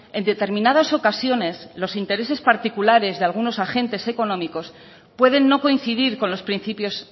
en determinadas ocasiones los intereses particulares de algunos agentes económicos pueden no coincidir con los principios